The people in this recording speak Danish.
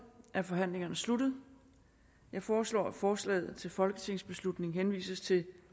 er forhandlingen sluttet jeg foreslår at forslaget til folketingsbeslutning henvises til